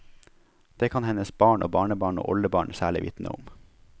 Det kan hennes barn og barnebarn og oldebarn særlig vitne om.